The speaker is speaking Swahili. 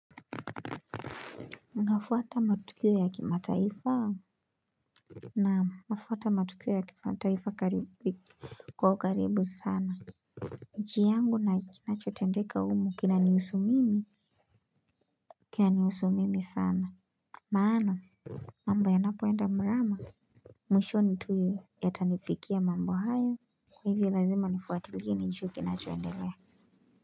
Unafwata matukio ya kima taifa hau Naamu, nafwata matukio ya kima taifa karibu kwa karibu sana nchi yangu na kinachotendeka umu kina niusu mimi kina niusu mimi sana Maana mambo ya napoenda mrama Mwisho ni tuyo ya tanifikia mambo hayo Kwa hivo lazima nifuatiliye ninjue kina choendelea.